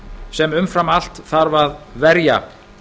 sem umfram allt þarf að verja